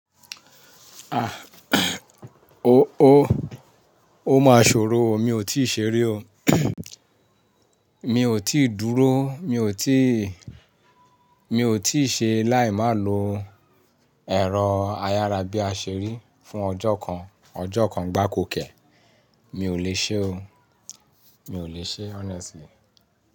Ah, o ó máa ṣòro o, mi ò tíì ṣeri o. Mi ò tí ì dúró, mi ò tíì, mi ò tí ì ṣe láì má lo ẹ̀rọ ayára bí a ṣe rí fún ọjọ́ kan, ọjọ́ kan gbákò kẹ́. Mi ò lè ṣe o. Mi ò lè ṣe honestly.